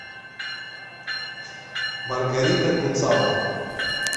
маргарита гуцало